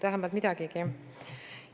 Vähemalt midagigi.